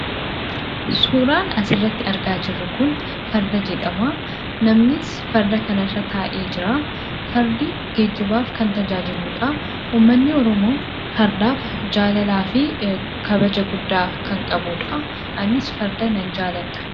Suuraan asirratti argaa jirru kun Farda jedhama. Namnis farda kanarra taa'ee jira. Fardi geejjibaaf kan tajaajiluudha. Uummanni Oromoo fardaaf jaalalaa fi kabaja guddaa kan qabuudha. Anis farda nan jaaladha.